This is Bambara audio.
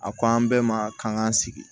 A ko an bɛɛ ma k'an k'an sigi